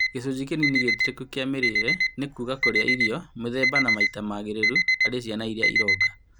Gĩcunjĩ kĩnini gĩtĩkĩrĩku kĩa mĩrĩĩre nĩ kuuga kũrĩa irio mĩthemba na maita magĩrĩru harĩ ciana iria cironga